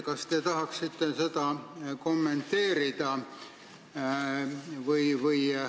Kas te tahaksite seda kommenteerida?